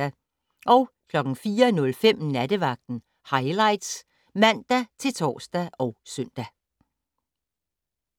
04:05: Nattevagten Highlights (man-tor og søn)